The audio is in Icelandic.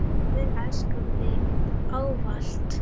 Ég mun elska þig ávallt.